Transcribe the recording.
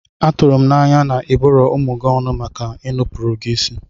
Atụrụ m anya na ịbụrọ ụmụ gị ọnụ maka inupụrụ gị isi?